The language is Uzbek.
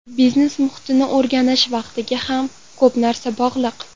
Biznes muhitni o‘rganish vaqtiga ham ko‘p narsa bog‘liq.